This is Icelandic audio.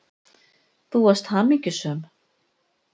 Þú varst hamingjusöm.